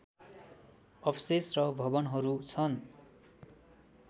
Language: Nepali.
अवशेष र भवनहरू छन्